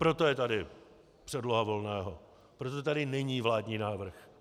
Proto je tady předloha Volného, proto tady není vládní návrh.